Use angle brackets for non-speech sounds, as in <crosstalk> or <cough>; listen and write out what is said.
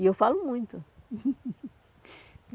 E eu falo muito. <laughs>